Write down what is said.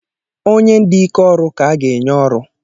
Onye dị ike ọrụ ka a ga-enye ọrụ